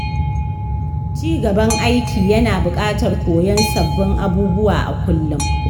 Ci gaban aiki yana buƙatar koyon sabbin abubuwa a kullum.